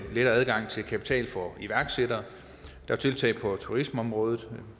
lettere adgang til kapital for iværksættere tiltag på turismeområdet